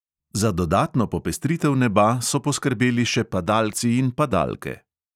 Za dodatno popestritev neba so poskrbeli še padalci in padalke.